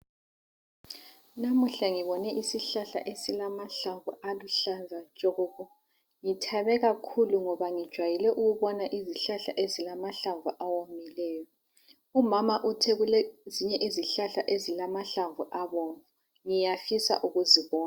Namuhla ngibone isihlahla esilamahlamvu aluhlaza tshoko. Ngithabe kakhulu ngoba ngijwayele ukubona izihlahla ezilamahlamvu awomileyo .Umama uthe kulezinye izihlahla ezilamahlamvu abomvu. Ngiyafisa ukuzibona.